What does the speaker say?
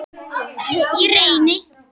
Ég reyni.